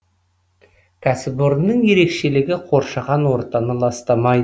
кәсіпорынның ерекшелігі қоршаған ортаны ластамайды